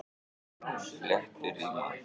Flétturima